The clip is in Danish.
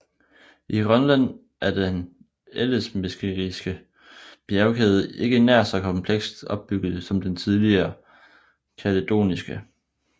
I Grønland er den ellesmeriske bjergkæde ikke nær så komplekst opbygget som den lidt tidligere kaledoniske